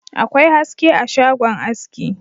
Akwai haske a shagon aski